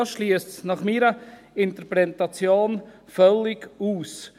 Das ist nach meiner Interpretation völlig ausgeschlossen.